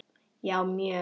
Já mjög